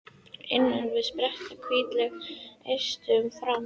Innan við spretta hvítleit eistun fram.